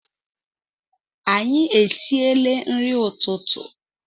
Anyi esile nri ututu